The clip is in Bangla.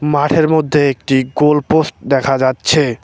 মাঠের মধ্যে একটি গোল পোস্ট দেখা যাচ্ছে।